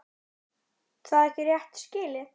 Er það ekki rétt skilið?